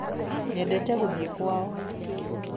nyendete gũthĩĩ kwao